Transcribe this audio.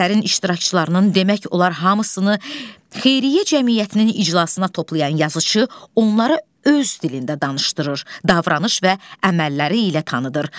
Əsərin iştirakçılarının demək olar hamısını xeyriyyə cəmiyyətinin iclasına toplayan yazıçı onlara öz dilində danışdırır, davranış və əməlləri ilə tanıtır.